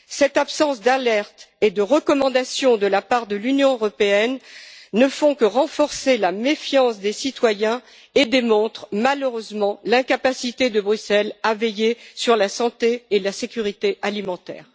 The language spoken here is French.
Cette absence d'alerte et de recommandations de la part de l'Union européenne ne fait que renforcer la méfiance des citoyens et démontre malheureusement l'incapacité de Bruxelles à veiller sur la santé et la sécurité alimentaire.